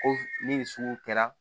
Ko ni nin sugu kɛra